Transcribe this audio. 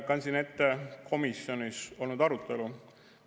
Kandsin ette komisjonis olnud arutelu.